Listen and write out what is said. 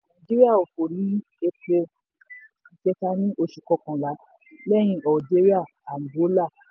twenty twenty-two nàìjíríà òfò ní epo ìkẹta ní oṣù kọkànlá lẹ́yìn algeria angola.